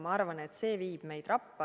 Ma arvan, et see viib meid rappa.